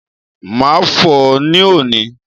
Màá fò ó ní òní